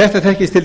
þetta þekkist til